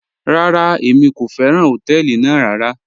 Rárá, èmi kò fẹ́ràn họ̀tẹ̀ẹlì ná rárá..